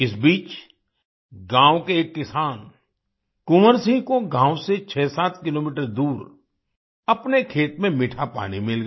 इस बीच गाँव के एक किसान कुंवर सिंह को गाँव से 67 किलोमीटर दूर अपने खेत में मीठा पानी मिल गया